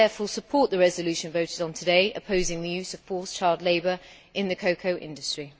I therefore support the resolution voted on today opposing the use of forced child labour in the cocoa industry.